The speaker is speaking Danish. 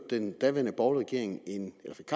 den daværende borgerlige